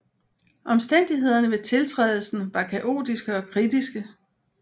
Omstændighederne ved tiltrædelsen var kaotiske og kritiske